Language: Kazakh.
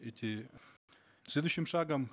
эти следующим шагом